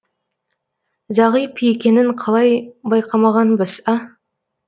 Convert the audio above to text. зағип екенін қалай байқамағанбыз а